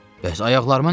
Bəs ayaqlarıma nə olub?